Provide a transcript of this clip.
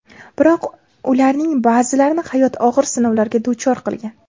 Biroq ularning ba’zilarini hayot og‘ir sinovlarga duchor qilgan.